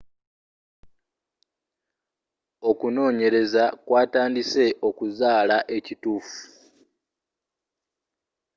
okunonyeleza kw'atandise okuzula ekitufu